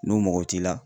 N'u mɔgɔ t'i la